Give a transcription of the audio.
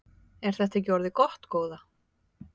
Er þetta ekki orðið gott góða?